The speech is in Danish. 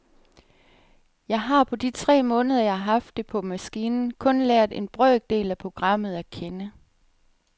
Jeg har, på de tre måneder jeg har haft det på maskinen, kun lært en brøkdel af programmet at kende.